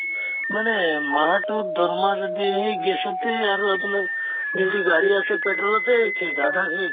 মানে মাহত তোৰ দৰমহা যদি সেই gas তে আৰু আপোনাৰ যদি গাড়ী আছে petrol তে শেষ আধা শেষ